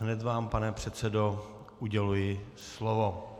Hned vám, pane předsedo, uděluji slovo.